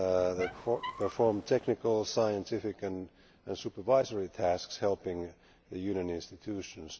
They perform technical, scientific and supervisory tasks helping the Union institutions.